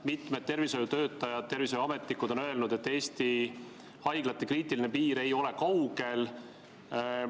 Mitmed tervishoiutöötajad ja tervishoiuametnikud on öelnud, et Eesti haiglate kriitiline piir ei ole kaugel.